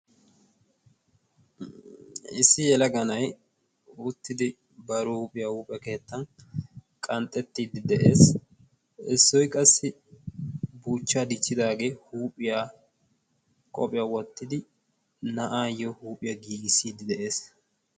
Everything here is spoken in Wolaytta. issi yelaganai uuttidi bari huuphiyaa huuphe keettan qanxxettiiddi de7ees issoy qassi buuchchaa diichchidaagee huuphiya qoophiyaa wottidi na7aayyo huuphiyaa giigissiiddi de7ees